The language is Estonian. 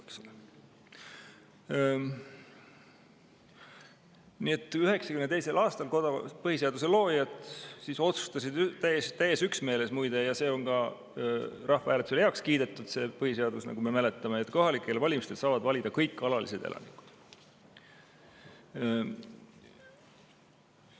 Nii et 1992. aastal põhiseaduse loojad otsustasid täies üksmeeles, muide – ja see on ka rahvahääletusel heaks kiidetud põhiseadus, nagu me mäletame –, et kohalikel valimistel saavad valida kõik alalised elanikud.